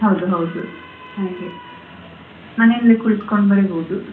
ಹೌದು ಹೌದು ಹಾಗೆ ಮನೆಲ್ಲೇ ಕುಳಿತ್ಕೊಂಡು ಬರೀಬಹುದ್.